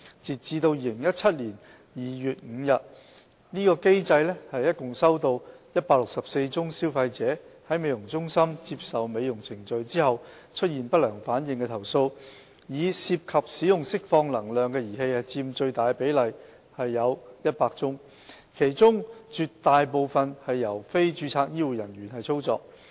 截至2017年2月5日，該機制共收錄164宗消費者在美容中心接受美容程序後出現不良反應的投訴，以涉及使用釋放能量的儀器佔最大比例，其中絕大部分由非註冊醫護專業人員操作。